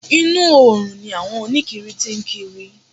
Inú oòrùn ni àwọn oníkiri tí ń kiri.